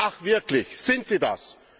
Ach wirklich, sind sie das?